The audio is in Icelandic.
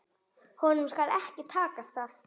Höfðum verið á skíðum.